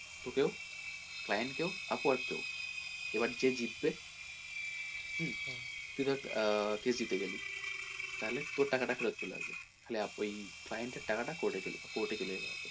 তোকেও client কেও upwork কেও এবার যে জিতবে হুম, তুই ধর আহ জিতে গেলি তাহলে তোর টাকা টা ফেরত চলে আসবে client এর টাকা টা court এ চলে court এ চলে যাবে।